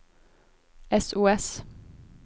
sos